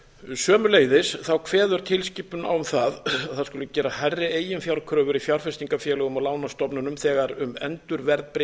sömuleiðis kveður tilskipunin á um það að það skuli gera hærri eiginfjárkröfur í fjárfestingarfélögum og lánastofnunum þegar um endurverðbréfun